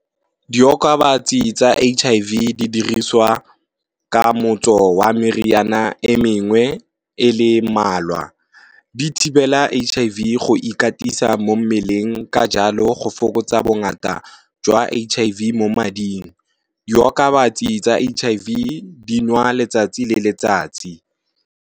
Diokabatsi tsa H_I_V di diriswa ka motso wa meriana e mengwe e le mmalwa di thibela H_I_V go ikatisa mo mmeleng ka jalo go fokotsa bongata jwa H_I_V mo mading, diokabatsi tsa H_I_V di nwa letsatsi le letsatsi.